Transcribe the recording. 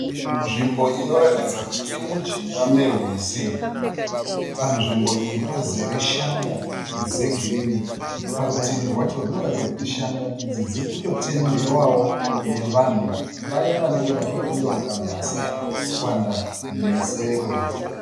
Nzvimbo inoratidza kuti irimujinga merwizi. Panzvimbo iyi pazere shanga dzegirinhi. Parutivi rwacho runoratidza kuti shanga idzi dzirikutotemhewawo nevanhu vaya vanenge vachida kundonoruka mhaswa nesero.